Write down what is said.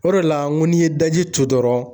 O de la ŋo n'i ye daji tu dɔrɔn